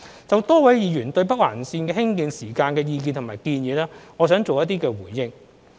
就多位議員對北環綫興建時間的意見及建議，我想作出回應。